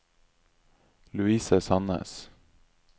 Louise Sandnes